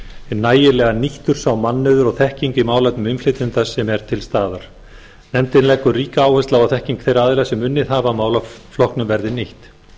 nægilega nýttur sá mannauður og þekking í málefnum innflytjenda sem er til staðar nefndin leggur ríka áherslu á að þekking þeirra aðila sem unnið hafa að málaflokknum verði nýtt